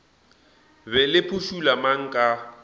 be le phušula mang ka